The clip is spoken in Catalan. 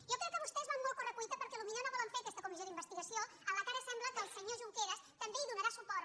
jo crec que vostès van molt a corre·cuita perquè pot·ser no volen fer aquesta comissió d’investigació en la qual ara sembla que el senyor junqueras també donarà suport